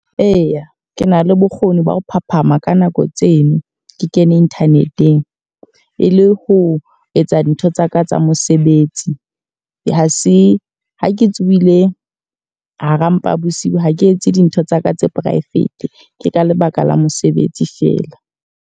Eya, ke na le bokgoni ba ho phahaphama ka nako tseno ke kene internet-eng. E le ho etsa dintho tsaka tsa mosebetsi. Ha se ha ke tsohile hara mpa bosiu ha ke etse dintho tsaka tsa private, ke ka lebaka la mosebetsi fela.